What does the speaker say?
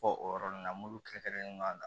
Fɔ o yɔrɔ ninnu na mulu kɛrɛnkɛrɛnnen na